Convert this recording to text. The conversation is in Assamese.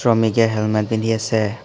মিকে হেলমেট পিন্ধি আছে।